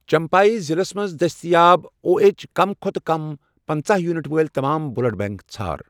چمپھایی ضلعس مَنٛز دٔستیاب او، ایچٕ کم کھۄتہٕ کم پنٛژاہ یونٹ وٲلۍ تمام بلڈ بینک ژھار